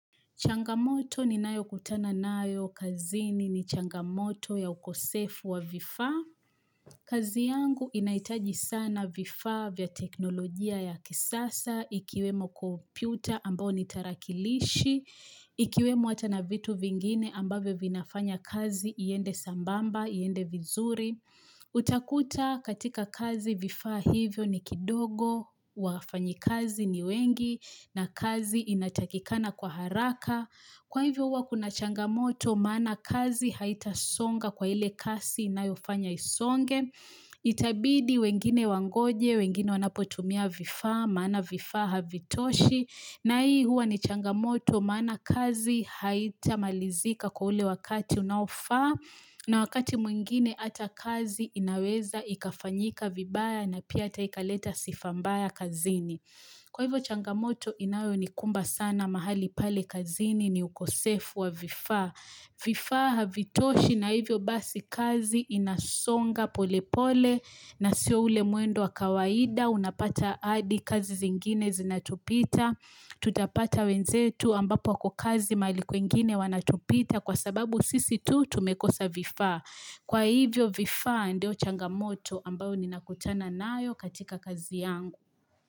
Changamoto ni nayo kutana nayo, kazini ni changamoto ya ukosefu wa vifaa kazi yangu inahitaji sana vifaa vya teknolojia ya kisasa, ikiwemo kompyuta ambao ni tarakilishi, ikiwemo hata na vitu vingine ambavyo vinafanya kazi, iende sambamba, iende vizuri. Uta kuta katika kazi vifaa hivyo ni kidogo wafanyi kazi ni wengi na kazi inatakikana kwa haraka Kwa hivyo huwa kuna changamoto maana kazi haita songa kwa ile kasi inayofanya isonge Itabidi wengine wangoje, wengine wanapotumia vifaa, mana vifaa havitoshi na hii huwa ni changamoto maana kazi haita malizika kwa ule wakati unaofaa na wakati mwingine hata kazi inaweza ikafanyika vibaya na pia hata ikaleta sifa mbaya kazini. Kwa hivyo changamoto inayo ni kumba sana mahali pale kazini ni ukosefu wa vifaa. Vifa havitoshi na hivyo basi kazi inasonga pole pole na sio ule mwendo wa kawaida. Unapata hadi kazi zingine zinatupita. Tutapata wenzetu ambapo kukazi mahali kwengine wanatupita. Kwa sababu sisi tu tumekosa vifaa. Kwa hivyo vifa ndio changamoto ambayo ni nakutana nayo katika kazi yangu.